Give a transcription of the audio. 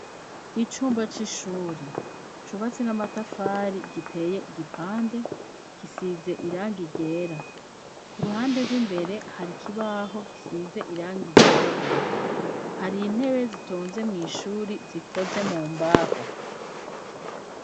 Icumba c'ishuri cubatse n'amatafari giteye igipande gisize irangi ryera. Ku ruhande rw'imbere hari ikibaho gisize irangi ryirabura, hari intebe zitonze mw' ishuri zikoze mu mbabo.